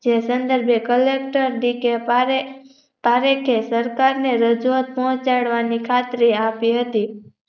તે સન્દર્ભે collector DK Parekh પારેખે સરકારને રજુ આત ફો ચડવાની ખાતરી આપી હતી